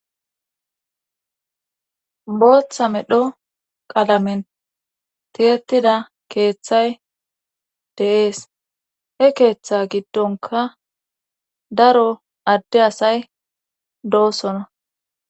booththa medho qalamen tiyettida keeththay de'ees he keeththa giddonka daro adde asay doosona